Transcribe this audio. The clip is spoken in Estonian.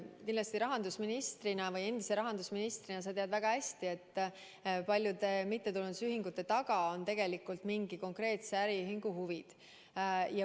Endise rahandusministrina sa kindlasti tead väga hästi, et paljude mittetulundusühingute taga on tegelikult mingi konkreetse äriühingu huvid.